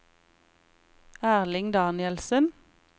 Erling Danielsen